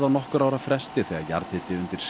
á nokkurra ára fresti þegar jarðhiti undir